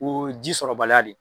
Ko ji sɔrɔ baliya de.